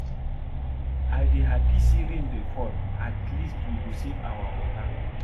I dey happy say rain dey fall at least we go save our water